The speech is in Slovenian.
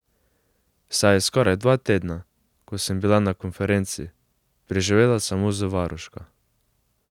Saj je skoraj dva tedna, ko sem bila na konferenci, preživela samo z varuško.